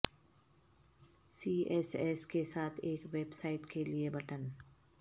سی S S کے ساتھ ایک ویب سائٹ کے لئے بٹن